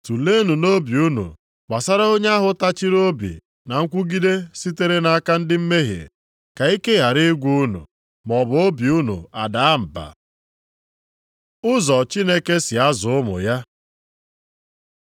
Tuleenụ nʼobi unu gbasara onye ahụ tachịrị obi na nkwụgide sitere nʼaka ndị mmehie, ka ike ghara ịgwụ unu maọbụ obi unu adaa mba. Ụzọ Chineke si azụ ụmụ ya